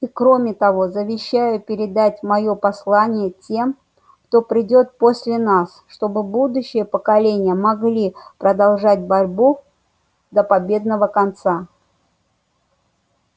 и кроме того завещаю передать моё послание тем кто придёт после нас чтобы будущие поколения могли продолжать борьбу до победного конца